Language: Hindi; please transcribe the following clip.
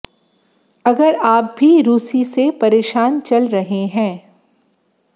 अगर आप भी रूसी से परेशान चल रहे हैं